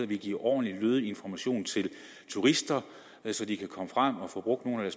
vi giver ordentlig og lødig information til turister så de kan komme frem og få brugt nogle af